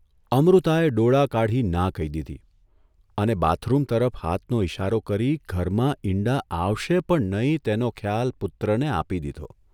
અમૃતાએ ડોળા કાઢી ના કહી દીધી અને બાથરૂમ તરફ હાથનો ઇશારો કરી ઘરમાં ઇંડા આવશે પણ નહીં તેનો ખ્યાલ પુત્રને આપી દીધો.